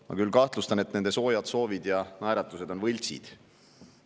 Ma küll kahtlustan, et nende soojad soovid ja naeratused on võltsid.